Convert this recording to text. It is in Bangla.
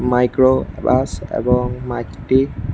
মাইক্রো প্লাস এবং মাইকটি--।